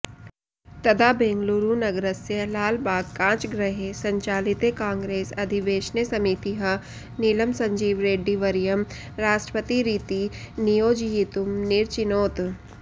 तदा बेङ्गळूरुनगरस्य लालबाग् काचगृहे सञ्चालिते काङ्ग्रेस् अधिवेशने समितिः नीलं सञ्जीवरेड्डीवर्यं राष्ट्रपतिरिति नियोजयितुं निरचिनोत्